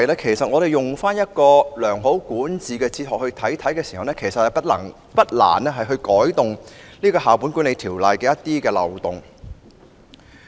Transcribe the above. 如果我們用一套良好管治哲學審視《教育條例》，便不難修補《教育條例》的一些漏洞。